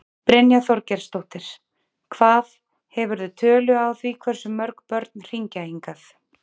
Brynja Þorgeirsdóttir: Hvað, hefurðu tölu á því hversu mörg börn hringja hingað?